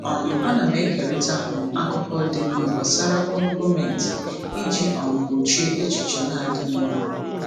um Ana m ekerịta um akụkọ dị mma gbasara ọrụ gọọmentị iji um gbochie echiche na-adịghị mma.